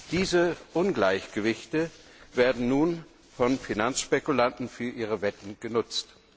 Diese Ungleichgewichte werden nun von Finanzspekulanten für ihre Wetten genutzt.